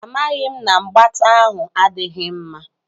Amaghị m na mgbata ahụ adịghị mma.